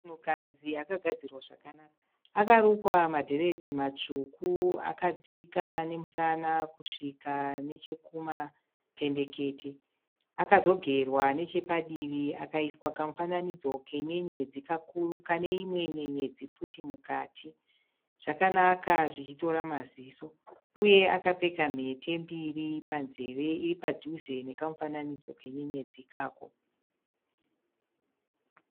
Munhukadzi akagadzirwa zvakanaka. Akarukwa madhiredhi matsvuku akadzika nemusana kusvika kumapendekete, akaiswa kamufanaidzo kenyenyedzi kane imwe nyenyedzi futi mukati. Zvakanaka zvichitora maziso uye akapfeka mhete mbiri panzeve iri padhuze nekamufananidzo kenyenyedzi ikako.